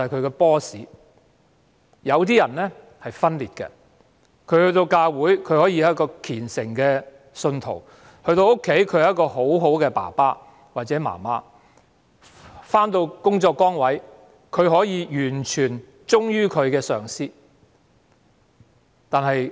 有些人可以分裂自己，在教會內可以是虔誠的信徒，在家中可以是模範父母親，在工作崗位上可以完全忠於上司。